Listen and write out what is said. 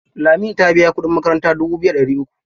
Lami ta biya kuɗin makaranta dubu biyu da ɗari uku.